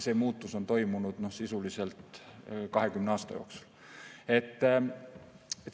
See muutus on toimunud sisuliselt 20 aasta jooksul.